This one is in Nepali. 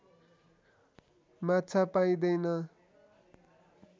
माछा पाइँदैन